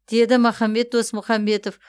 деді махамбет досмұхамбетов